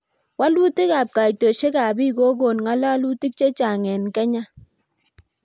Walutik ab kaitoshek ab pik kokon ngalutik chechang eng kenya